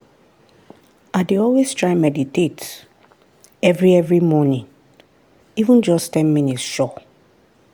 i dey always try meditate every every morning — even just ten minutes sure.